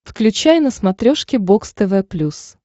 включай на смотрешке бокс тв плюс